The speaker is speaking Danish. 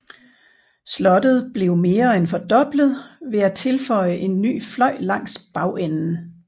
Slottet blev mere end fordoblet ved at tilføje en ny fløj langs bagenden